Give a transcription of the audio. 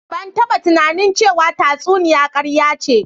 Ban taba tunanin ce wa tsatsuniya karya ce